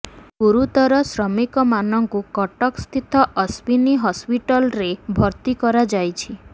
ଗୁରୁତର ଶ୍ରମିକମାନଙ୍କୁ କଟକ ସ୍ଥିତ ଅଶ୍ୱିନୀ ହସ୍ପିଟାଲରେ ଭର୍ତ୍ତି କରାଯାଇଛି